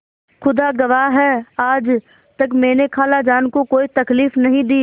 खुदा गवाह है आज तक मैंने खालाजान को कोई तकलीफ नहीं दी